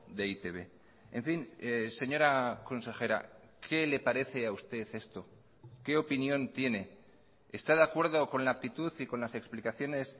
de e i te be en fin señora consejera qué le parece a usted esto qué opinión tiene está de acuerdo con la actitud y con las explicaciones